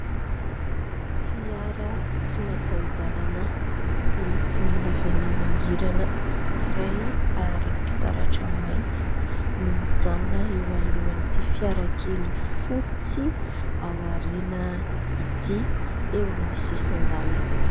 Fiara tsy mataho-dalana miloko volondavenona mangirana iray ary fitaratra mainty no mijanona eo alohan'ity fiarakely fotsy ao ariana ity, eo amin'ny sisin-dalana.